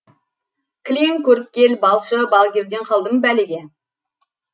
кілең көріпкел балшы балгерден қалдым бәлеге